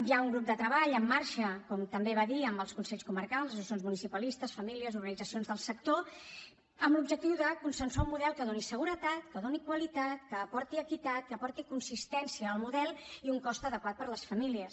hi ha un grup de treball en marxa com també va dir amb els consells comarcals associacions municipalistes famílies organitzacions del sector amb l’objectiu de consensuar un model que doni seguretat que doni qualitat que aporti equitat que aporti consistència al model i un cost adequat per a les famílies